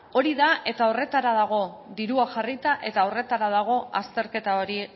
hori da eta horretarako dago dirua jarrita eta horretara dago azterketa hori